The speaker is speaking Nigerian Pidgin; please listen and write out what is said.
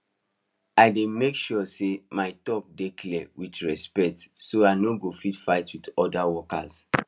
i dey make sure say my talk dey clear with respect so i no go fight with other workers